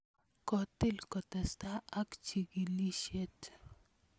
Kotil kotestai ak chikilisyet.